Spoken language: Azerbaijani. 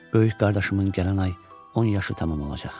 Böyük qardaşımın gələn ay 10 yaşı tamam olacaq.